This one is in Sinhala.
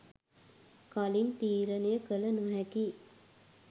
කලින් තීරණය කළ නොහැකියි